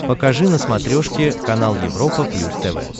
покажи на смотрешке канал европа плюс тв